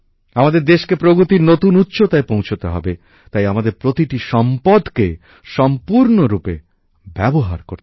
আমাদের দেশকে প্রগতির নতুন উচ্চতায় পৌঁছতে হবে তাই আমাদের প্রতিটি সম্পদকে সম্পূর্ণরূপে ব্যবহার করতে হবে